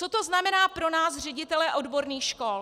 Co to znamená pro nás ředitele odborných škol?